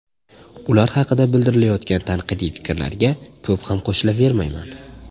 Ular haqida bildirilayotgan tanqidiy fikrlarga ko‘p ham qo‘shilavermayman.